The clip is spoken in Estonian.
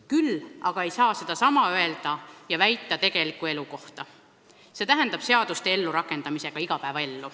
Küll ei saa sedasama öelda tegeliku elu kohta, see tähendab seaduste ellurakendamise kohta.